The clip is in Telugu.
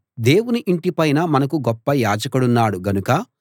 దేవుని ఇంటి పైన మనకు గొప్ప యాజకుడున్నాడు గనుక